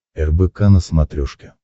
рбк на смотрешке